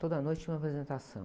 Toda noite tinha uma apresentação.